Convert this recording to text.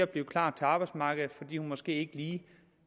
blive klar til arbejdsmarkedet fordi hun måske ikke lige